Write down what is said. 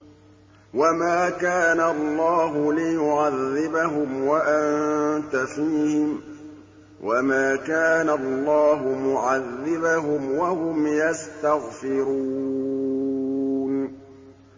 وَمَا كَانَ اللَّهُ لِيُعَذِّبَهُمْ وَأَنتَ فِيهِمْ ۚ وَمَا كَانَ اللَّهُ مُعَذِّبَهُمْ وَهُمْ يَسْتَغْفِرُونَ